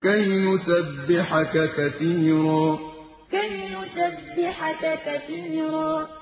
كَيْ نُسَبِّحَكَ كَثِيرًا كَيْ نُسَبِّحَكَ كَثِيرًا